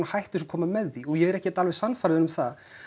hættur sem koma með því og ég er ekkert alveg sannfærður um það